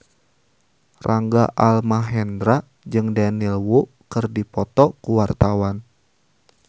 Rangga Almahendra jeung Daniel Wu keur dipoto ku wartawan